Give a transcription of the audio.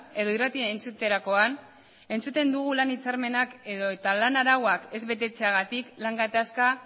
edo irratia entzuterakoan entzuten dugu lan hitzarmenak edota lan arauak ez betetzeagatik lan gatazka